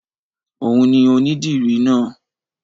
Òun ni ònídìrì náà